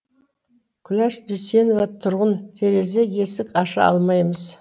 күләш дүйсенова тұрғын терезе есік аша алмаймыз